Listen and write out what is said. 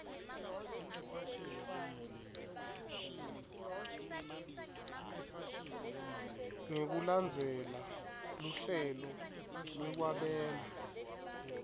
ngekulandzela luhlelo lwekwabela